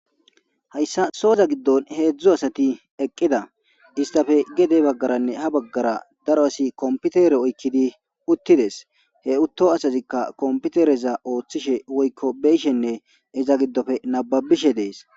hayssa sooza giddon heedzdzu asati eqqida istafe gede baggaranne ha baggara daro asi kompitere oykkidi uttides he utto asazikka kompitereza ooththishe woykko beyshenne iza giddofe nababishe dees